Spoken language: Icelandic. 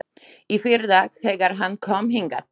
Í fyrradag, þegar hann kom hingað.